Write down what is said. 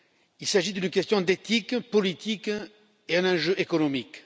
Il s'agit d'une question d'éthique politique et d'un enjeu économique.